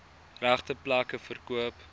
regte plekke verkoop